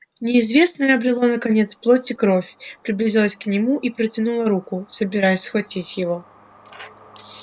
неизвестное обрело наконец плоть и кровь приблизилось к нему и протянуло руку собираясь схватить его